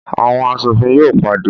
Awọn aṣofin yóò pàdé